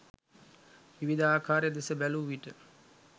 විවිධ ආකාරය දෙස බැලූ විට